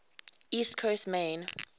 east coast maine